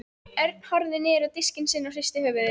Örn horfði niður á diskinn sinn og hristi höfuðið.